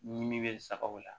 Ɲimi bɛ sagaw la